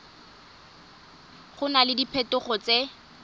go na le diphetogo tse